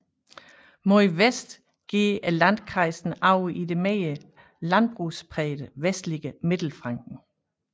Mod vest går landkreisen over i det mere landbrugsprægede vestlige Mittelfranken